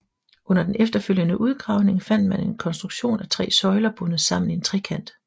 Under den efterfølgende udgravning fandt man en konstruktion af tre søjler bundet sammen i en trekant